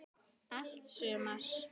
Allt sumar